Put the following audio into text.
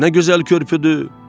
Nə gözəl körpüdür!